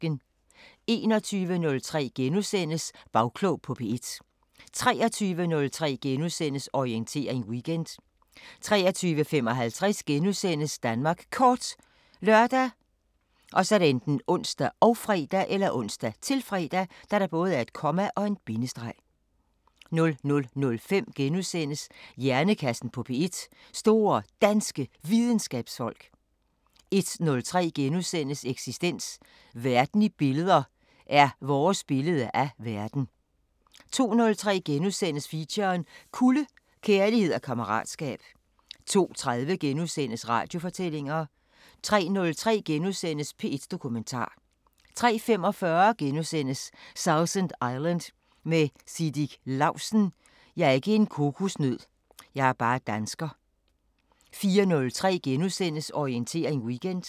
21:03: Bagklog på P1 * 23:03: Orientering Weekend * 23:55: Danmark Kort *( lør, ons, -fre) 00:05: Hjernekassen på P1: Store Danske Videnskabsfolk * 01:03: Eksistens: Verden i billeder er vores billede af verden * 02:03: Feature: Kulde – kærlighed og kammeratskab * 02:30: Radiofortællinger * 03:03: P1 Dokumentar * 03:45: Sausan Island med Siddik Lausten: "Jeg er ikke en kokosnød. Jeg er bare dansker" * 04:03: Orientering Weekend *